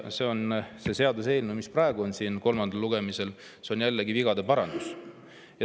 See seaduseelnõu, mis praegu on siin kolmandal lugemisel, on jällegi vigade parandus.